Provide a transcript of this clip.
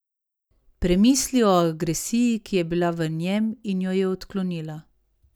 Premisli o agresiji, ki je bila v njem in jo je odklonila.